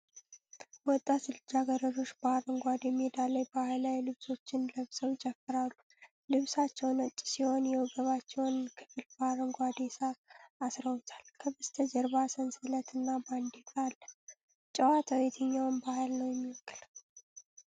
ወጣት ልጃገረዶች በአረንጓዴ ሜዳ ላይ ባህላዊ ልብሶችን ለብሰው ይጨፍራሉ። ልብሳቸው ነጭ ሲሆን የወገባቸውን ክፍል በአረንጓዴ ሣር አስረውታል። ከበስተጀርባ ሰንሰለት እና ባንዲራ አለ። ጨዋታው የትኛውን ባህል ነው የሚወክለው?